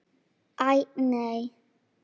Æ, nei.